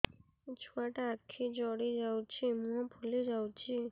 ଛୁଆଟା ଆଖି ଜଡ଼ି ଯାଉଛି ମୁହଁ ଫୁଲି ଯାଉଛି